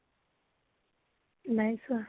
নাই চোৱা।